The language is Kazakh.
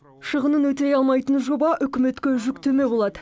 шығынын өтей алмайтын жоба үкіметке жүктеме болады